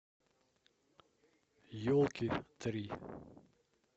елки три